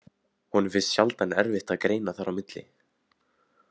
Honum finnst sjaldan erfitt að greina þar á milli.